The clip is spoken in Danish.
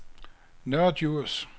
Nørre Djurs